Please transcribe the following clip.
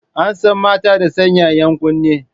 An san mata da sanya 'yan kunne.